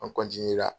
An